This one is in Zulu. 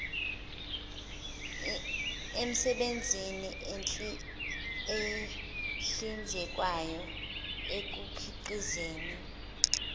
emisebenzini ehlinzekwayo ekukhiqizeni